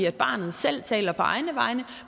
at barnet selv taler på egne vegne og